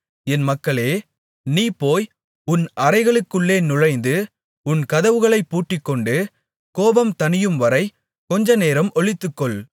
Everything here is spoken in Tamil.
என் மக்களே நீ போய் உன் அறைகளுக்குள்ளே நுழைந்து உன் கதவுகளைப் பூட்டிக்கொண்டு கோபம் தணியும்வரை கொஞ்சநேரம் ஒளித்துக்கொள்